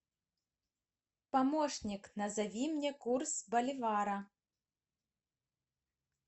помощник назови мне курс боливара